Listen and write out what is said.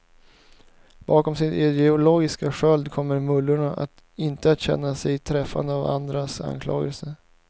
Bakom sin ideologiska sköld kommer mullorna inte att känna sig träffade av andras anklagelser.